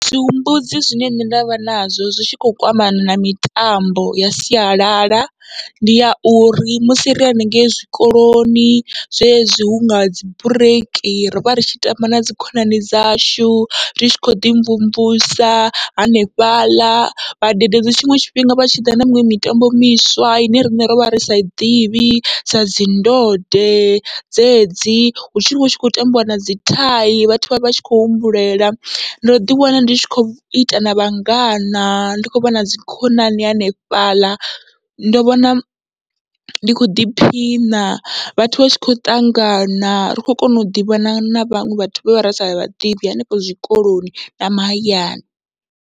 Zwi humbudzi zwine ndavha nazwo zwi tshi kho kwamana na mitambo ya sialala, ndi ya uri musi ri hanengei zwikoloni zwezwi hunga dzi bureiki rivha ri tshi tamba nadzi khonani dzashu, ri tshi khoḓi mvumvusa hanefhaḽa vhadededzi tshiṅwe tshifhinga vha tshiḓa na miṅwe mitambo miswa ine riṋe rovha ri sai ḓivhi sa dzi ndode dzedzi, hu tshivha hu khou tambiwa nadzi thai vhathu vha tshivha vhe tshi khou humbulela. Ndo ḓi wana ndi tshi khou ita na vhangana ndi kho vhona dzikhonani hanefhaḽa, ndo vhona ndi kho ḓiphina vhathu vha tshi khou ṱangana ri khou kona u ḓivhana na vhaṅwe vhathu vhe ravha ri sa vhaḓivhi hanefho zwikoloni na mahayani.